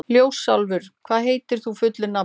Ljósálfur, hvað heitir þú fullu nafni?